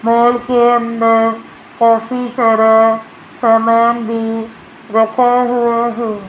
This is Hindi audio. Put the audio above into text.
मॉल के अंदर काफी सारा सामान भी रखा हुआ है।